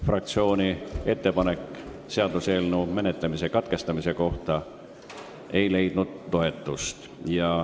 Fraktsiooni ettepanek seaduseelnõu menetlemise katkestamise kohta ei leidnud toetust.